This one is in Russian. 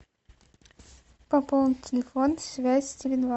пополнить телефон связь теле два